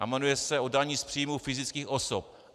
A jmenuje se o dani z příjmů fyzických osob.